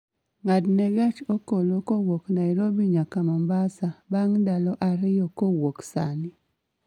ng'adne gach okolo kowuok nairobi nyaka mombasa bang' ndalo ariyo kowuok sani